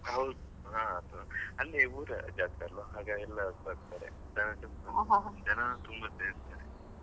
ಹೌದ್ ಹ ಹಾ ಅಲ್ಲಿ ಊರ ಜಾತ್ರೆ ಅಲ್ವಾ ಹಾಗಾಗಿ ಎಲ್ಲ ಬರ್ತಾರೆ ಜನ ತುಂಬಾ ಇರ್ತಾರೆ.